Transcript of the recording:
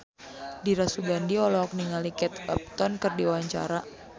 Dira Sugandi olohok ningali Kate Upton keur diwawancara